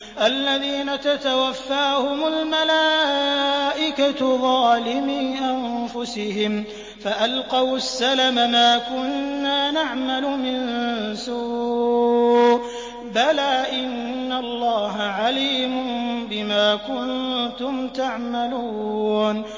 الَّذِينَ تَتَوَفَّاهُمُ الْمَلَائِكَةُ ظَالِمِي أَنفُسِهِمْ ۖ فَأَلْقَوُا السَّلَمَ مَا كُنَّا نَعْمَلُ مِن سُوءٍ ۚ بَلَىٰ إِنَّ اللَّهَ عَلِيمٌ بِمَا كُنتُمْ تَعْمَلُونَ